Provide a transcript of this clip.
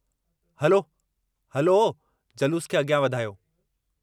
हलो हलो जलूस खे अॻियां वधायो।